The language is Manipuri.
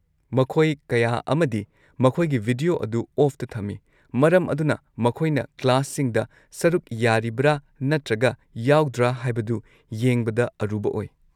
ꯃꯈꯣꯏ ꯀꯌꯥ ꯑꯃꯗꯤ ꯃꯈꯣꯏꯒꯤ ꯚꯤꯗꯤꯑꯣ ꯑꯗꯨ ꯑꯣꯐꯇ ꯊꯝꯃꯤ, ꯃꯔꯝ ꯑꯗꯨꯅ ꯃꯈꯣꯏꯅ ꯀ꯭ꯂꯥꯁꯁꯤꯡꯗ ꯁꯔꯨꯛ ꯌꯥꯔꯤꯕ꯭ꯔꯥ ꯅꯠꯇ꯭ꯔꯒ ꯌꯥꯎꯗ꯭ꯔ ꯍꯥꯏꯕꯗꯨ ꯌꯦꯡꯕꯗ ꯑꯔꯨꯕ ꯑꯣꯏ꯫